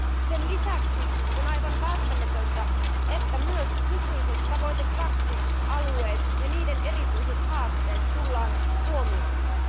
Sen lisäksi on aivan välttämätöntä, että myös nykyiset tavoite 2 alueet ja niiden erityiset haasteet tullaan huomioimaan.